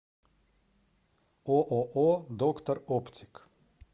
ооо доктор оптик